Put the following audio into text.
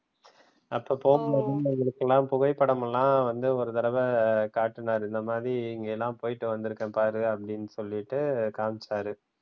அப்ப போகும்போத எங்களுக்கெல்லாம் புகைப்படம் எல்லாம் வந்து ஒரு தடவ காட்டுனாரு இந்த மாதிரி இங்கெல்லாம் போயிட்டு வந்து இருக்கேன் பாரு அப்டின்னு சொல்லிட்டு காமிச்சாரு.